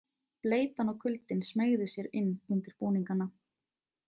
Bleytan og kuldinn smeygði sér inn undir búningana.